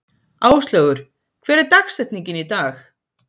Áslaugur, hver er dagsetningin í dag?